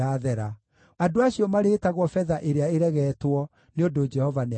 Andũ acio marĩĩtagwo betha-ĩrĩa-ĩregetwo, nĩ ũndũ Jehova nĩamaregeete.”